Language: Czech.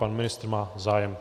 Pan ministr má zájem.